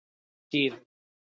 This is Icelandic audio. Síðu